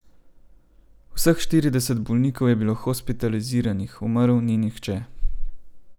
Vseh štirideset bolnikov je bilo hospitaliziranih, umrl ni nihče.